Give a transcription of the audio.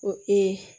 Ko